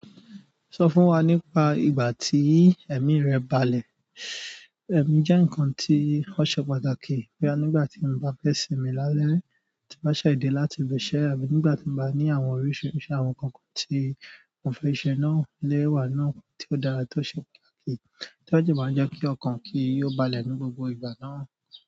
Sọ fún wa nípa ìgbà tí ẹ̀mí rẹ balẹ̀. Ẹ̀mí jẹ́ ǹkan tí ó ṣe pàtàkì bóyá nígbà tí mo bá fẹ́ sinmi lálẹ́, tí m bá ṣẹ̀ de láti ibi iṣẹ́ àbí nígbà tí m bá ní àwọn oríṣiríṣi àwọn nǹkan tí mo fẹ́ ṣe, na le wà náà tí ó dára tí ó ṣe pàtàkì, tí ó sì máa ń jẹ́ kí ọkàn kí ó balẹ̀ ní gbogbo ìgbà náà.